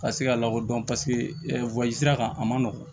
Ka se ka lakodɔn paseke sira kan a man nɔgɔn